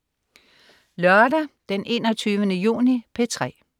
Lørdag den 21. juni - P3: